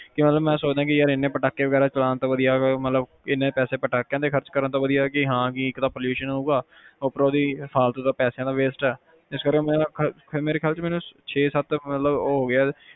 ਮੈਂ ਸੋਚਦਾ ਕੀ ਯਾਰ ਏਨੇ ਪਟਾਖੇ ਚਲਾਉਣ ਤੋਂ ਵਧੀਆ ਏਨੇ ਪੈਸੇ ਪਟਾਖਿਆਂ ਤੇ ਖਰਚਣ ਵਧੀਆ ਇਕ ਤਾ pollution ਹੋਊਗਾ ਉਪਰੋਂ ਦੀ ਪੈਸਿਆਂ ਦਾ wastage ਇਸ ਕਰਕੇ ਮੇਰੇ ਖਿਆਲ ਵਿਚ ਮੈਨੂੰ ਛੇ ਸੱਤ